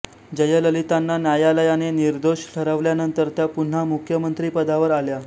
जयललितांना न्यायालयाने निर्दोष ठरवल्यानंतर त्या पुन्हा मुख्यमंत्रीपदावर आल्या